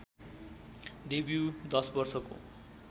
debut १० वर्षको